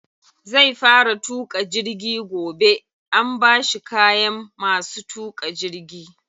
Zai fara tuƙa jirgi gobe, an bashi kayan masu tuƙa jirgi.